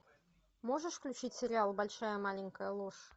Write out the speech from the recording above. можешь включить сериал большая маленькая ложь